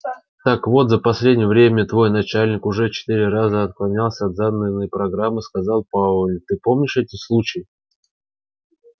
так вот за последнее время твой начальник уже четыре раза отклонялся от заданной мной программы сказал пауэлл ты помнишь эти случаи